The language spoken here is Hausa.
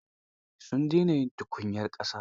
Sun dena yin tukunyar ƙasa.